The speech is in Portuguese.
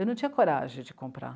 Eu não tinha coragem de comprar.